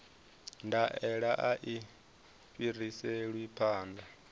ndaela a i fhiriselwi phanḓa